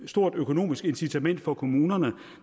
stort økonomisk incitament for kommunerne